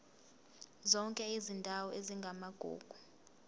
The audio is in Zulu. zonke izindawo ezingamagugu